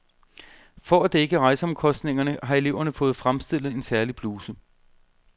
For at dække rejseomkostningerne har eleverne fået fremstillet en særlig bluse.